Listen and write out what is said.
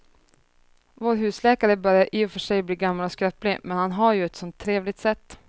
Vår husläkare börjar i och för sig bli gammal och skröplig, men han har ju ett sådant trevligt sätt!